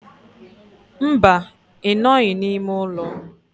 Mba, I noghi n'ime ulo.